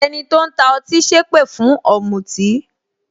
Ẹni tó ń ta ọtí sépè fún ọ̀mùtì